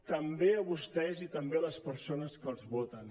també a vostès i també a les persones que els voten